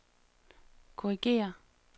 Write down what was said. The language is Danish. korrigér